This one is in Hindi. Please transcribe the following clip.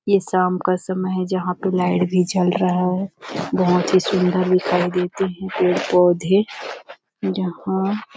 यह शाम का समय है जहाँ पर लाइट भी जल रहा है बहुत ही सुंदर दिखाई देते है पेड़-पौधे जहाँ--